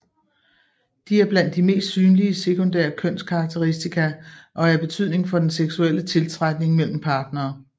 De er blandt de mest synlige sekundære kønskarakteristika og er af betydning for den seksuelle tiltrækning mellem partnere